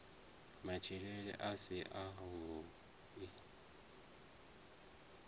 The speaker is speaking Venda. matshilele a si a vhui